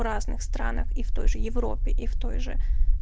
в разных странах и в той же европе и в той же